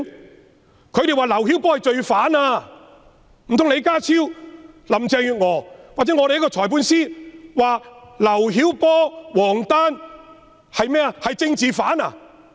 內地聲稱劉曉波是罪犯；難道李家超、林鄭月娥或律政司司長會說劉曉波、王丹是政治犯嗎？